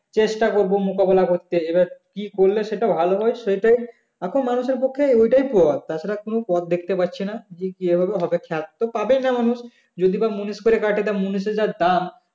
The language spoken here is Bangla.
চেষ্টা করবো মোকাবেলা করতে এবার কি করলে সেটা ভালো হয় সেটাই এখন মানুষের কাছে ওটাই পথ তাছাড়া কোনো পথ দেখতে পাচ্ছি না যে কি ভাবে হবে খড় তো পাবেই না মানুষ যদি বা মুনিশ করে কাটি তা মুনিশের যা দাম